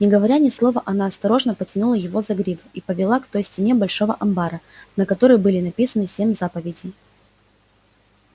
не говоря ни слова она осторожно потянула его за гриву и повела к той стене большого амбара на которой были написаны семь заповедей